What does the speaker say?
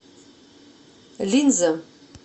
линза